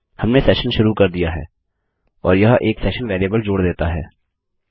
हमने सेशन शुरू कर दिया है और यह एक सेशन वेरिएबल जोड़ देता है